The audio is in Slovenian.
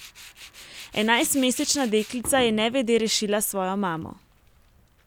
Enajstmesečna deklica je nevede rešila svojo mamo.